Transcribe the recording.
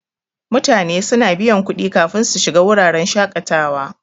Mutane suna biyan kudi kafin su shiga wuraren shaƙatawa.